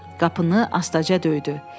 Qapını astaca döydü.